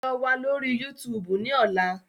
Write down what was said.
Lọ wa lori YuTuubu ni ọla!